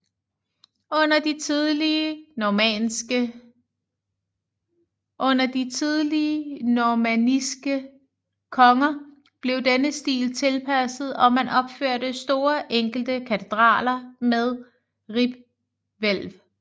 Under de tidlige normanniske konger blev denne stil tilpasset og man opførte store enkle katedraler med ribhvælv